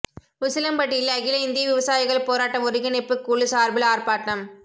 உசிலம்பட்டியில் அகில இந்திய விவசாயிகள் போராட்ட ஒருங்கிணைப்புக் குழு சார்பில் ஆர்ப்பாட்டம்